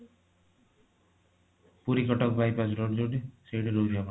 Puri Cuttack bypass road ଯୋଊଠି ସେଇଠି ରହୁଛି ଆପଣଙ୍କର